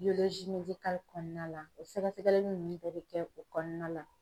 kɔnɔna la o sɛgɛsɛgɛli nunnu bɛɛ bɛ kɛ o kɔnɔna la.